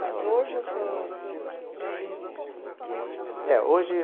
Mas hoje o senhor tem o quê? O... É, hoje